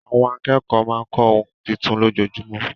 Àwọn akẹ́kọ̀ọ́ máa ń kọ́ ohun tuntun lójoojúmọ́.